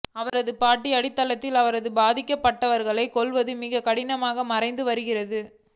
அவரது பாட்டி அடித்தளத்தில் அவரது பாதிக்கப்பட்டவர்களை கொல்வது மிகவும் கடினமாக மறைந்து வருகிறது